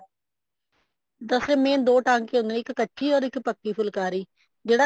ਦਰ ਅਸਲ ਦੋ ਟਾਂਕੇ ਹੁੰਦੇ ਨੇ ਇੱਕ ਕੱਚੀ or ਇੱਕ ਪੱਕੀ ਫੁਲਕਾਰੀ ਜਿਹੜਾ